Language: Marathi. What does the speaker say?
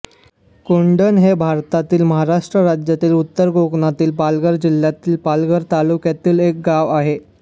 कोंढण हे भारतातील महाराष्ट्र राज्यातील उत्तर कोकणातील पालघर जिल्ह्यातील पालघर तालुक्यातील एक गाव आहे